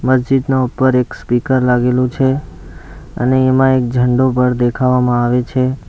મસ્જિદનો ઉપર એક સ્પીકર લાગેલું છે અને એમાં એક ઝંડો પર દેખાવામાં આવે છે.